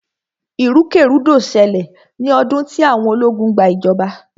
ìrúkèrudo ṣẹlẹ̀ ní ọdún tí àwọn ológun gba ìjọba.